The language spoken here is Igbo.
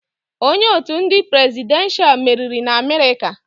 Onye otu ndị presidenshal meriri n'Amerịka.